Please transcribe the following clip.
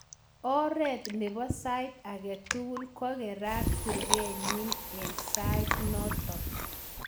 Oret nebo sait age tugul ko kokerat kurget nyi eng sait notok.